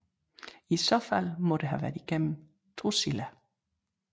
I så fald må det have været gennem Drusilla